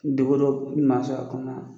Degun dɔw man sɔrɔ a kɔnɔna na.